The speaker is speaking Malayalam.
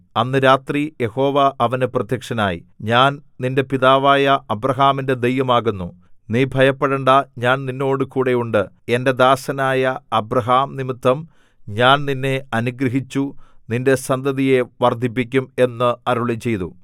അന്ന് രാത്രി യഹോവ അവന് പ്രത്യക്ഷനായി ഞാൻ നിന്റെ പിതാവായ അബ്രാഹാമിന്റെ ദൈവം ആകുന്നു നീ ഭയപ്പെടേണ്ടാ ഞാൻ നിന്നോടുകൂടെ ഉണ്ട് എന്റെ ദാസനായ അബ്രാഹാം നിമിത്തം ഞാൻ നിന്നെ അനുഗ്രഹിച്ചു നിന്റെ സന്തതിയെ വർദ്ധിപ്പിക്കും എന്ന് അരുളിച്ചെയ്തു